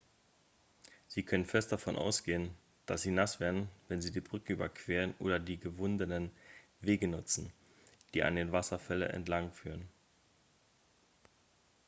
sie können fest davon ausgehen dass sie nass werden wenn sie die brücke überqueren oder die gewundenen wege nutzen die an den wasserfälle entlangführen